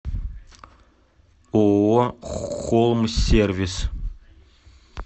ооо холмсервис